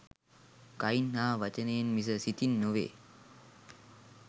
කයින් හා වචනයෙන් මිස සිතින් නොවේ.